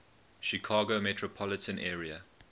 chicago metropolitan area